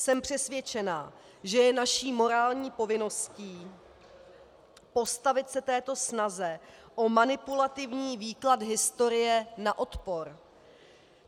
Jsem přesvědčená, že je naší morální povinností postavit se této snaze o manipulativní výklad historie na odpor.